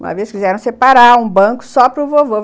Uma vez quiseram separar um banco só para o vovô.